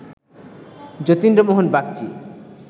Jatindra Mohan Bagchi